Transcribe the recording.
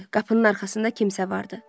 Qapının arxasında kimsə vardı.